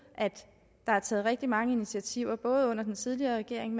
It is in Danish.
at der er taget rigtig mange initiativer både under den tidligere regering